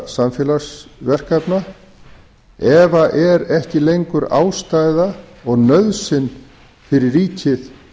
samfélagsverkefna ef er ekki lengur ástæða og nauðsyn fyrir ríkið